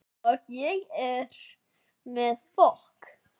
Og ég með fokk